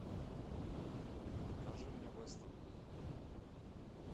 покажи мне вестерн